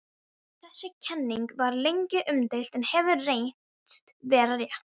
Þessi kenning var lengi umdeild en hefur reynst vera rétt.